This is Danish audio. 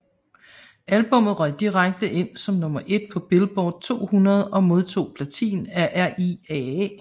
Albummet røg direkte ind som nummer 1 på Billboard 200 og modtog platin af RIAA